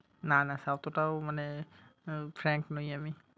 না না সতটাও মানে আহ franq নই আমি।